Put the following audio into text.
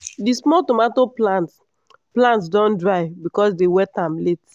di small tomato plant plant don dry because dem wet am late.